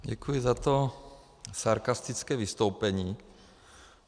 Děkuji za to sarkastické vystoupení.